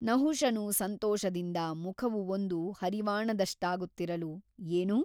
ನಹುಷನು ಸಂತೋಷದಿಂದ ಮುಖವು ಒಂದು ಹರಿವಾಣದಷ್ಟಾಗುತ್ತಿರಲು ಏನು ?